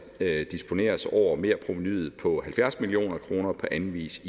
disponeres over merprovenuet på halvfjerds million kroner på anden vis